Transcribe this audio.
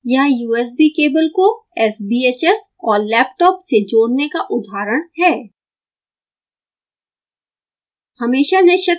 यहाँ usb cable को sbhs और लैपटॉप से जोड़ने का उदाहरण है